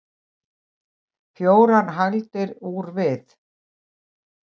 fjórar hagldir úr við